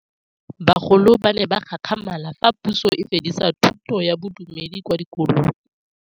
Bagolo ba ne ba gakgamala fa Pusô e fedisa thutô ya Bodumedi kwa dikolong.